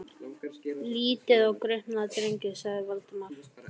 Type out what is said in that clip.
Lítið á gripina, drengir! sagði Valdimar.